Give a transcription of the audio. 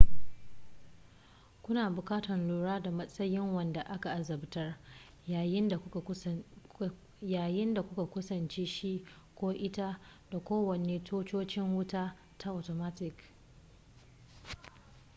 kuna buƙatar lura da matsayin wanda aka azabtar yayin da kuka kusanci shi ko ita da kowane tutocin wuta ta atomatik